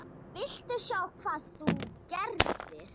VILTU SJÁ HVAÐ ÞÚ GERÐIR!